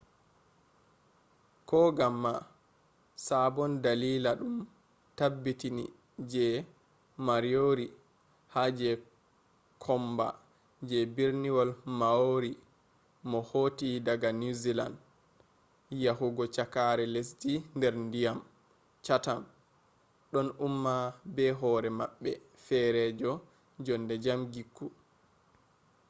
koganma sabon dalila ɗum tabbiti je moriori ha je komba je berniwol maori mo hotti daga niwzealand yahugo cakkare lesdi nder ndiyam chatham ɗon umma be hoore maɓɓe feerejo jonde jam gikku